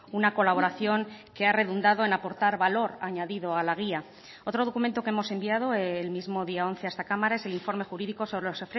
una colaboración que ha redundado en aportar valor añadido a la guía otro documento que hemos enviado el mismo día once a esta cámara es el informe jurídico sobre los